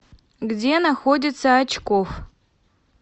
где находится очкофф